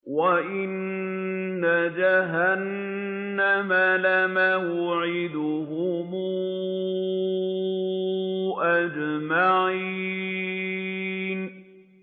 وَإِنَّ جَهَنَّمَ لَمَوْعِدُهُمْ أَجْمَعِينَ